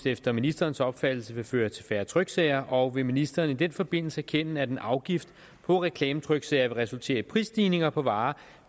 efter ministerens opfattelse vil føre til færre tryksager og vil ministeren i den forbindelse erkende at en afgift på reklametryksager vil resultere i prisstigninger på varer